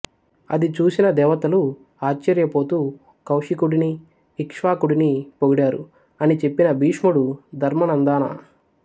అది చూసిన దేవతలు ఆశ్చర్య పోతూ కౌశికుడిని ఇక్ష్వాకుడిని పొగిడారు అని చెప్పిన భీష్ముడు ధర్మనందనా